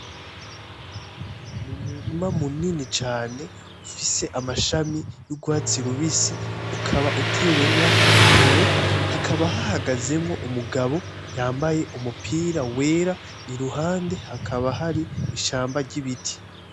Umurima munini cane ufise amashami y'urwatsi rubisi ukaba utewemwo intore, ukaba uhagazwemwo umugabo yambaye umupira wera iruhande hakaba hari ishamba ry'ibiti.